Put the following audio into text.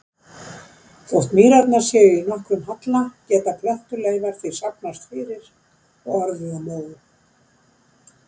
Þótt mýrarnar séu í nokkrum halla geta plöntuleifar því safnast fyrir og orðið að mó.